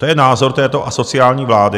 To je názor této asociální vlády.